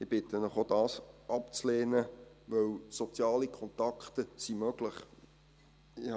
Ich bitte Sie, auch dies abzulehnen, weil soziale Kontakte möglich sind.